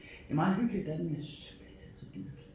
Det er meget hyggeligt derinde men jeg synes simpelthen det er så dyrt